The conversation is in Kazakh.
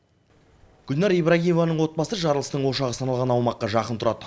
гүлнәр ибрагимованың отбасы жарылыстың ошағы саналған аумаққа жақын тұрады